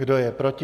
Kdo je proti?